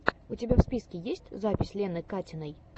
у тебя в списке есть запись лены катиной